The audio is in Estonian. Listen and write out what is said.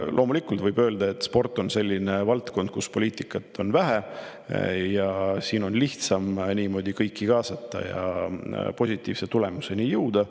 Loomulikult võib öelda, et sport on selline valdkond, kus poliitikat on vähe, ja siin on lihtsam kõiki kaasata ja positiivse tulemuseni jõuda.